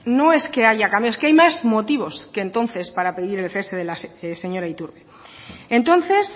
no es que haya es que hay más motivos que entonces para pedir el cese de la señora iturbe entonces